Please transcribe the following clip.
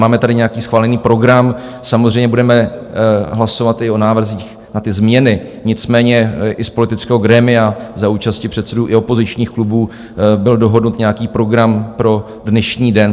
Máme tady nějaký schválený program, samozřejmě budeme hlasovat i o návrzích na ty změny, nicméně i z politického grémia za účasti předsedů i opozičních klubů byl dohodnut nějaký program pro dnešní den.